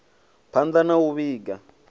phand a na u vhiga